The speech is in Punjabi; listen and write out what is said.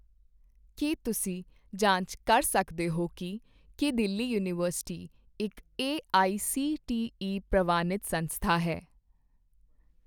ਕੀ ਤੁਸੀਂ ਜਾਂਚ ਕਰ ਸਕਦੇ ਹੋ ਕੀ ਕੀ ਦਿੱਲੀ ਯੂਨੀਵਰਸਿਟੀ ਇੱਕ ਏਆਈਸੀਟੀਈ ਪ੍ਰਵਾਨਿਤ ਸੰਸਥਾ ਹੈ?